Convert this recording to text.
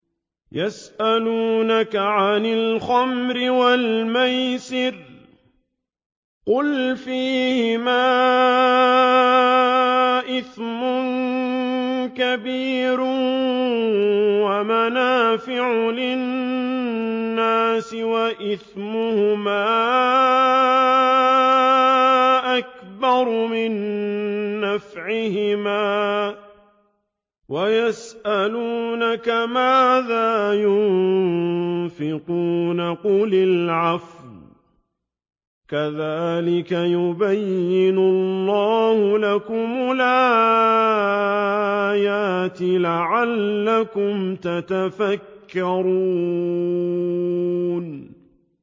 ۞ يَسْأَلُونَكَ عَنِ الْخَمْرِ وَالْمَيْسِرِ ۖ قُلْ فِيهِمَا إِثْمٌ كَبِيرٌ وَمَنَافِعُ لِلنَّاسِ وَإِثْمُهُمَا أَكْبَرُ مِن نَّفْعِهِمَا ۗ وَيَسْأَلُونَكَ مَاذَا يُنفِقُونَ قُلِ الْعَفْوَ ۗ كَذَٰلِكَ يُبَيِّنُ اللَّهُ لَكُمُ الْآيَاتِ لَعَلَّكُمْ تَتَفَكَّرُونَ